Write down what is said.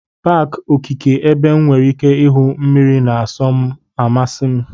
Paaki okeke ebe M nwere ike ahụ mmiri na-asọ asọ na-amasị m.